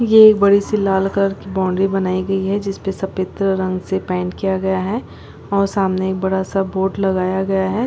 ये एक बड़ी सी लाल कलर की बॉउन्ड्री बनाई गई है जिसपे सफेद रंग से पेंट किया गया है और सामने एक बड़ा सा बोर्ड लगाया गया है।